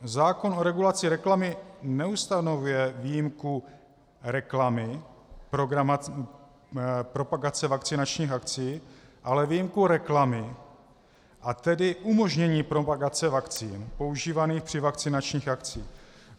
Zákon o regulaci reklamy neustanovuje výjimku reklamy propagace vakcinačních akcí, ale výjimku reklamy, a tedy umožnění propagace vakcín používaných při vakcinačních akcích.